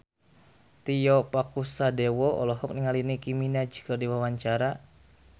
Tio Pakusadewo olohok ningali Nicky Minaj keur diwawancara